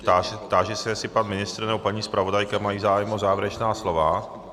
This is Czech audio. Táži se, jestli pan ministr nebo paní zpravodajka mají zájem o závěrečná slova.